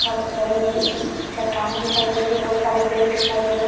बहुत बड़े-बड़े चट्टाने दिखाई दे रही है बहुत सारे पेड़ दिखाई दे रहे हैं --